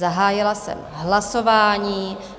Zahájila jsem hlasování.